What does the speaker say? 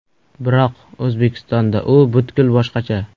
Biroq O‘zbekistonda u butkul boshqacha.